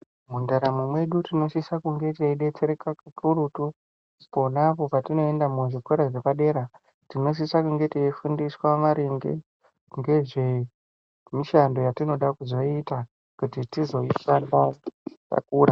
Mundaramo mwedu tinosise kunga teidetsereka pakurutu ponapo patinoenda pazvikora zvepadera tinosisa kunga teifundiswa maringe ngezve mishando yatinoda kuzoita kuti tizoishanda takura.